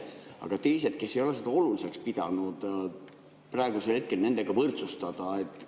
Aga kas teised, kes ei ole seda oluliseks pidanud, praegu nendega võrdsustada?